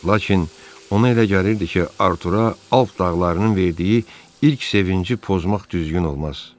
Lakin ona elə gəlirdi ki, Artura Alp dağlarının verdiyi ilk sevinci pozmaq düzgün olmaz.